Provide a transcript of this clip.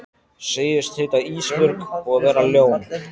Segist heita Ísbjörg og vera ljón.